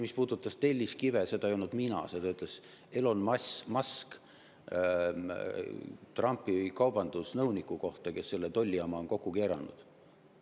Mis puudutab telliskive, siis seda öelnud mina, seda ütles Elon Musk Trumpi kaubandusnõuniku kohta, kes on selle tollijama kokku keeranud.